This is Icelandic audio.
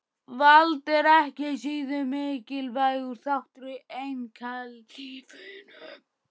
Vald er ekki síður mikilvægur þáttur í einkalífinu.